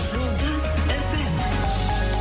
жұлдыз эф эм